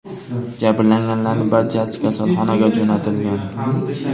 Jabrlanganlarning barchasi kasalxonaga jo‘natilgan.